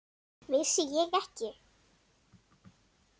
Vissi ég ekki!